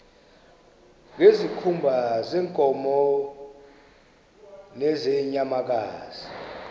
ngezikhumba zeenkomo nezeenyamakazi